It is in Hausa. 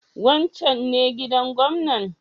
Wancan ne gidan gwamnan?